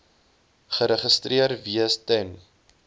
geregistreer wees ten